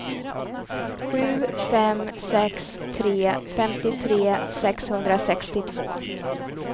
sju fem sex tre femtiotre sexhundrasextiotvå